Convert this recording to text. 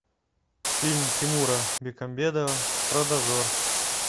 фильм тимура бекмамбетова про дозор